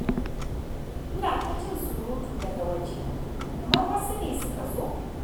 Ina ta jin surutu daga waje. Kamar wasu ne suka zo?